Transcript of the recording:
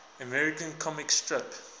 american comic strip